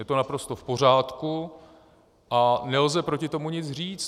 Je to naprosto v pořádku a nelze proti tomu nic říct.